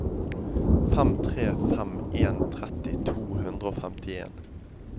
fem tre fem en tretti to hundre og femtien